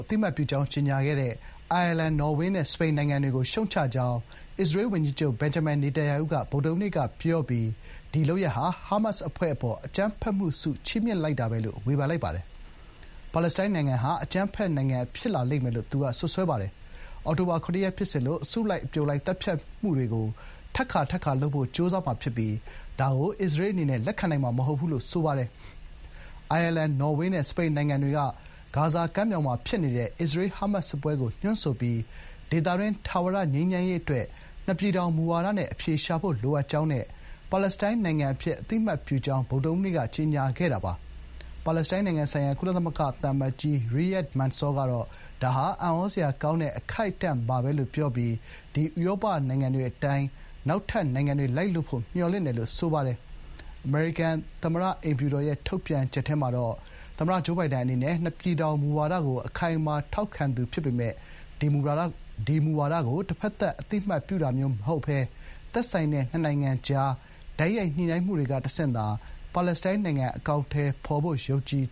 အသိအမှတ်ပြုကြောင်း ကြေညာခဲ့တဲ့ အိုင်ယာလန်၊ နော်ဝေးနဲ့စပိန်နိုင်ငံတွေကို ရှုတ်ချကြောင်း အစ္စရေးဝန်ကြီးချုပ် ဘင်ဂျမင်နေတန်ယာဟုက ဗုဒ္ဓဟူးနေ့က ပြောပြီး ဒီလုပ်ရပ်ဟာ ဟာမတ်စ်အဖွဲ့အပေါ် “အကြမ်းဖက်မှုဆု” ချီးမြှင့်တာပဲလို့ ဝေဖန်လိုက်ပါတယ်။ ပါလက်စတိုင်းနိုင်ငံဟာ အကြမ်းဖက်နိုင်ငံဖြစ်လာလိမ့်မယ်လို့ သူက စွပ်စွဲပါတယ်။ အောက်တိုဘာ ၇ ရက် ဖြစ်စဥ်လို အစုလိုက်အပြုံလိုက်သတ်ဖြတ်မှုတွေကို ထပ်ခါထပ်ခါလုပ်ဖို့ ကြိုးစားမှာဖြစ်ပြီး ဒါကို အစ္စရေးအနေနဲ့ လက်ခံနိုင်မှာမဟုတ်ဘူး” လို့ ဆိုပါတယ်။ အိုင်ယာလန်၊ နော်ဝေးနဲ့ စပိန်နိုင်ငံတွေက ဂါဇာကမ်းမြောင်မှာဖြစ်နေတဲ့ အစ္စရေး-ဟာမတ်စ်စစ်ပွဲကိုညွှန်းဆိုပြီး ဒေသတွင်း ထာဝရငြိမ်းချမ်းရေးအတွက် နှစ်ပြည်ထောင်မူဝါဒနဲ့အဖြေရှာဖို့လိုအပ်ကြောင်းနဲ့ ပါလက်စတိုင်းနိုင်ငံအဖြစ် အသိအမှတ်ပြုကြောင်း ဗုဒ္ဓဟူးနေ့က ကြေညာခဲ့တာပါ။ ပါလက်စတိုင်းနိုင်ငံဆိုင်ရာ ကုလသမဂ္ဂသံအမတ်ကြီး ရီယာ့ဒ် မန်ဆော (Riyad Mansour) က “ဒါဟာ အံ့သြစရာကောင်းတဲ့ အခိုက်အတန့်ပါပဲ” လို့ ပြောပြီး ဒီဥရောပနိုင်ငံတွေရဲ့လှိုင်းအတိုင်း တခြားလှိုင်းတွေနောက်က လိုက်လာဖို့ မျှော်လင့်တယ်” လို့ ဆိုပါတယ်။ ဝါရှင်တန်က အိမ်ဖြူတော် အမျိုးသားလုံခြုံရေးကောင်စီရဲ့ ထုတ်ပြန်ချက်ထဲမှာတော့ အမေရိကန်သမ္မတဂျိုးဘိုင်ဒန်အနေနဲ့ "နှစ်ပြည်ထောင်မူဝါဒကို ခိုင်ခိုင်မာမာနဲ့ ထောက်ခံနေသူဖြစ်ပြီး သူ့ ရာထူးသက်တမ်းတလျှောက် ဒီအတိုင်းဆက်လက် ရပ်တည်မယ်" လို့ ပြောပါတယ်။ ဒါပေမယ့် ဘိုင်ဒန်အနေနဲ့ ဒီမူဝါဒကို တဘက်သတ် အသိအမှတ်ပြုတာမျိုးမဟုတ်ဘဲ သက်ဆိုင်တဲ့နှစ်နိုင်ငံကြား တိုက်ရိုက်ညှိနှိုင်းမှုတွေကတဆင့်သာ ပါလက်စတိုင်းနိုင်ငံကို အကောင်အထည်ဖော်ဖို့ ယုံကြည်